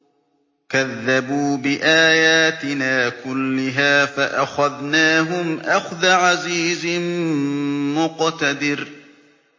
كَذَّبُوا بِآيَاتِنَا كُلِّهَا فَأَخَذْنَاهُمْ أَخْذَ عَزِيزٍ مُّقْتَدِرٍ